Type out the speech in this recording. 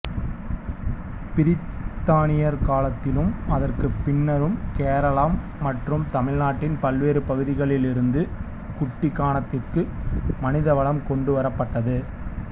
பிரித்தானியர் காலத்திலும் அதற்குப் பின்னரும் கேரளம் மற்றும் தமிழ்நாட்டின் பல்வேறு பகுதிகளிலிருந்து குட்டிக்கானத்திற்கு மனிதவளம் கொண்டு வரப்பட்டது